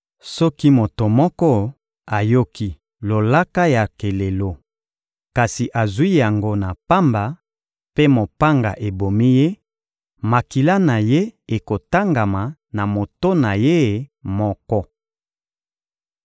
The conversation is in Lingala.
Soki moto moko ayoki lolaka ya kelelo, kasi azwi yango na pamba mpe mopanga ebomi ye, makila na ye ekotangama na moto na ye moko.